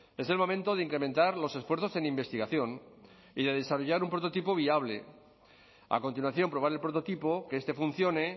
es el momento de incrementar los esfuerzos en investigación y de desarrollar un prototipo viable a continuación probar el prototipo que este funcione